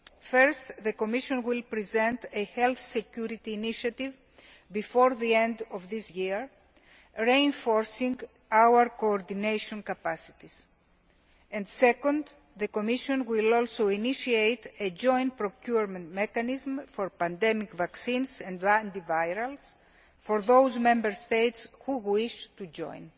First, the Commission will present a health security initiative before the end of this year reinforcing our coordination capacities, and second, the Commission will also initiate a joint procurement mechanism for pandemic vaccines and antivirals for those Member States who wish to join.